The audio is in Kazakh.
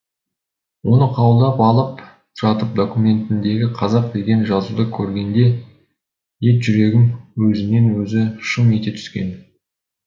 оны қабылдап алып жатып документіндегі қазақ деген жазуды көргенде ет жүрегім өзінен өзі шым ете түскен